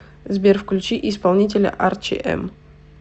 сбер включи исполнителя арчи эм